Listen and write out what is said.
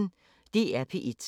DR P1